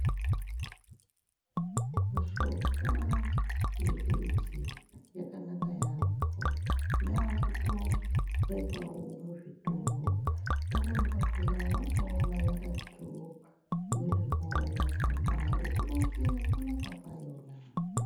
Mishonga yemidzi yakanaka yambo yakutobekwawo muzvitoro pamweni pakona unotoona yakatonyorerwawo matsamba ekuronze kunaka kwayona.